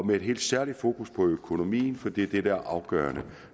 med et helt særligt fokus på økonomien for det er det afgørende